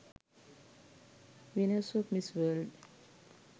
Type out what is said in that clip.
winners of miss world